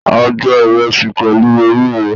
A jé ìresì pèlú ewúro